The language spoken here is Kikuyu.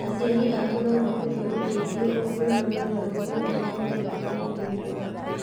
Aciari aku no makũhe ũteithio ũngĩona mogarũrũku marĩa maroneka mwĩrĩ-inĩ waku.